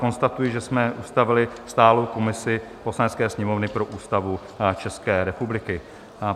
Konstatuji, že jsme ustavili stálou komisi Poslanecké sněmovny pro Ústavu České republiky.